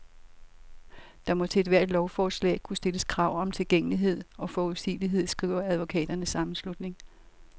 Der må til ethvert lovforslag kunne stilles krav om tilgængelighed og forudsigelighed, skriver advokaternes sammenslutning.